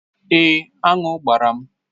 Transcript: Èé, aṅụ gbara m.